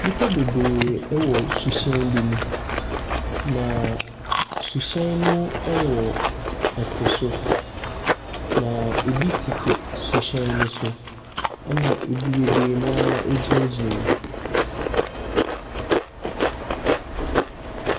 Nnipa bebree wɔ suhyɛn bi mu. Na suhyɛn no wɔ ɛpo so. Na ebi tete suhyɛn no so. Na bebree no ara gyinagyina mu.